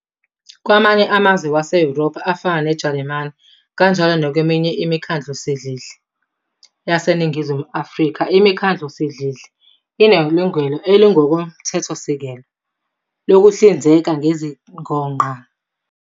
Kwamanye amazwe wase-Yurophu, afana neJalimani, kanjalo nakweminye imikhandlusidlidli yaseNingizimu Afrika, imikhandlusidlidli inelungelo elingokomthethosisekelo lokuhlinzeka ngezidingongqangi ngokusebenzisa imishumanqa ephethwe sobala.